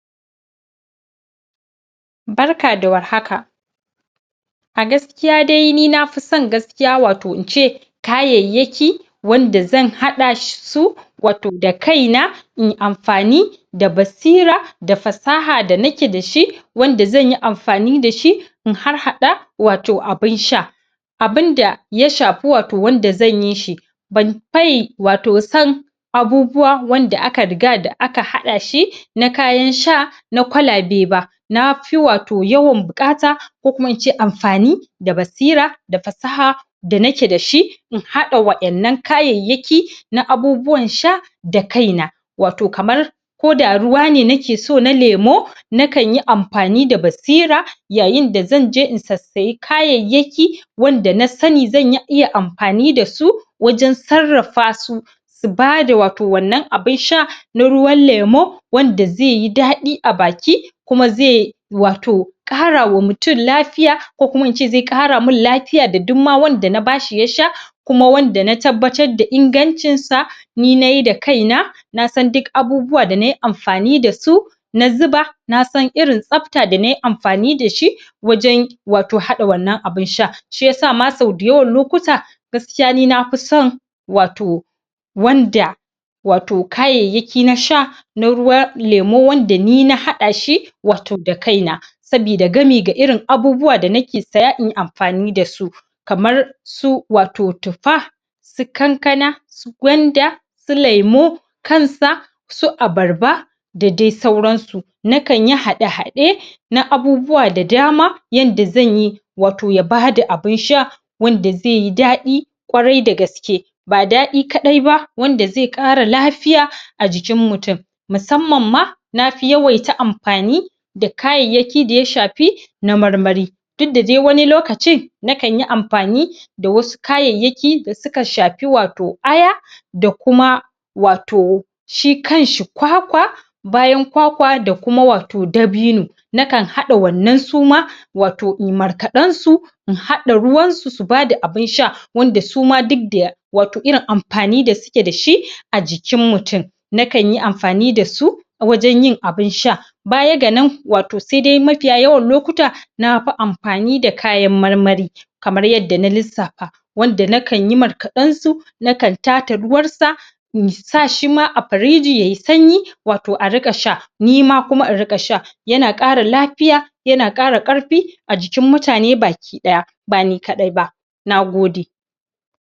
Barka da war haka. A gaskiya dai ni nafison gaskiya wato ince kayayyaki wanda zan haɗa su wato da kaina in amfani da basira da fasaha da nake dashi wanda zanyi amfani dashi in har-hada wato abun sha. Abunda ya shafi wato wanda zanyi shi ban fayi wato son abubuwa wanda aka riga da aka haɗa shi na kayan sha na kwalabe ba. Na fi wato yawan buƙata ko kuma ince amfani da basira da fasaha da nake dashi in haɗa waɗannan kayayyaki na abubuwan sha da kaina. Wato kamar koda ruwane nakeso na lemo na kanyi amfani da basira yayin da zanje in sassayi kayayyaki wanda na sani zan iya amfani dasu wajen sarrafa su su bada wato wannan abun sha na ruwan lemo wanda zaiyi daɗi a baki kuma zai wato ƙarawa mutum lafiya ko kuma ince zai ƙara min lafiya da dukma wanda na bashi ya sha kuma wanda na tabbatar da ingancin sa ni nayi da kaina nasan duk abubuwa da nayi amfani dasu na zuba nasan irin tsafta da nayi amfani dashi wajen wato haɗa wannan abun sha. Shiyasa ma sau dayawan lokuta gaskiya ni nafison wato wanda wato kayayyaki na sha na ruwan lemo wanda ni na haɗa shi wato da kaina. Sabida gami ga irin abubuwa da nake saya inyi amfani dasu. Kamar su wato tuffa, su kankana su gwanda, su lemo kansa, su abarba da dai sauransu. Na kanyi haɗe-haɗe na abubuwa da dama yanda zanyi wato ya bada abun sha wanda zaiyi daɗi ƙwarai da gaske. Ba daɗi kaɗai ba wanda zai ƙara lafiya a jikin mutum. Musamman ma nafi yawaita amfani da kayayyaki da ya shafi na marmari. Dukda dai wani lokacin na kanyi amfani da wasu kayayyaki da suka shafi wato aya da kuma wato shi kanshi kwakwa bayan kwakwa da kuma wato dabino. Nakan haɗa wannan suma wato inyi markaɗen su in haɗa ruwansu su bada abun sha. Wanda suma dukda wato irin amfani da suke dashi a jikin mutum. Na kanyi amfani dasu wajen yin abun sha baya ga nan, wato saidai mafiya yawan lokuta nafi amfani da kayan marmari. Kamar yadda na lissafa wanda nakanyi markaɗen su nakan taata ruwan sa in sashi ma a firiji yayi sanyi wato a riƙa sah. Nima kuma in riƙa sha. Yana ƙara lafiya yana ƙara ƙarfi a jikin mutane baki ɗaya. ba ni kaɗai ba. Nagode.